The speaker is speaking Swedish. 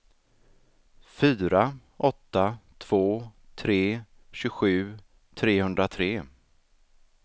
fyra åtta två tre tjugosju trehundratre